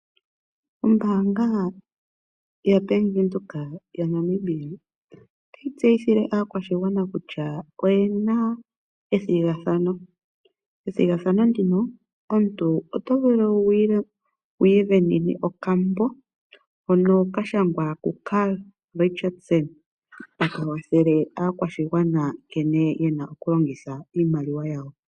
Ombaanga yaBank Windhoek yaNamibia otayi tseyithile aakwashigwana kutya oye na ethigathano. Ethigathano ndino omuntu oto vulu wu isindanene okambo hono ka shangwa kuCarl Richards, taka kwathele aakwashigwana nkene ye na okulongitha iimaliwa yawo.